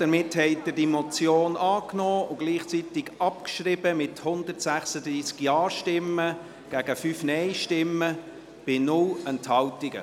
Somit haben Sie die Motion angenommen und gleichzeitig abgeschrieben, mit 136 JaStimmen gegen 5 Nein-Stimmen bei 0 Enthaltungen.